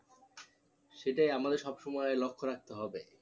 সেটাই আমাদের সব সময় লক্ষ্য রাখতে হবে